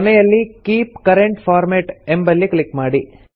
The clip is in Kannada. ಕೊನೆಯಲ್ಲಿ ಕೀಪ್ ಕರೆಂಟ್ ಫಾರ್ಮ್ಯಾಟ್ ಎಂಬಲ್ಲಿ ಕ್ಲಿಕ್ ಮಾಡಿ